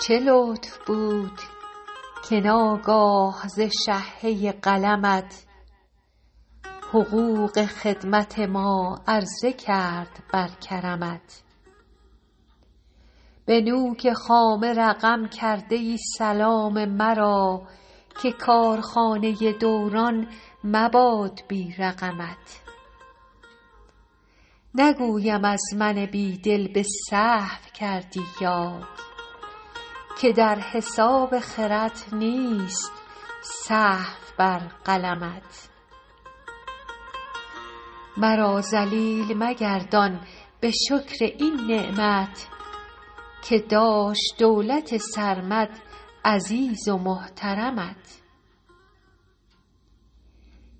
چه لطف بود که ناگاه رشحه قلمت حقوق خدمت ما عرضه کرد بر کرمت به نوک خامه رقم کرده ای سلام مرا که کارخانه دوران مباد بی رقمت نگویم از من بی دل به سهو کردی یاد که در حساب خرد نیست سهو بر قلمت مرا ذلیل مگردان به شکر این نعمت که داشت دولت سرمد عزیز و محترمت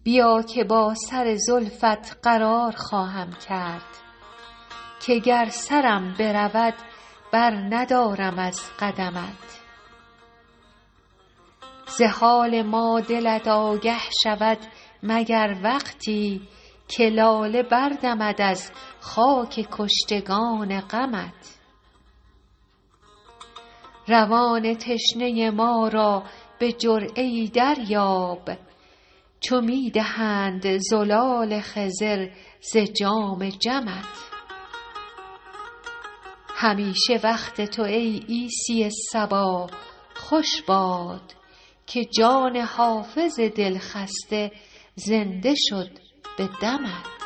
بیا که با سر زلفت قرار خواهم کرد که گر سرم برود برندارم از قدمت ز حال ما دلت آگه شود مگر وقتی که لاله بردمد از خاک کشتگان غمت روان تشنه ما را به جرعه ای دریاب چو می دهند زلال خضر ز جام جمت همیشه وقت تو ای عیسی صبا خوش باد که جان حافظ دلخسته زنده شد به دمت